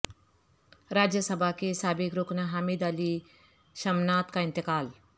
راجیہ سبھا کے سابق رکن حامد علی شمناد کا انتقال